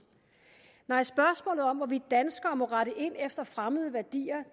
nej spørgsmålet om hvorvidt danskere må rette ind efter fremmede værdier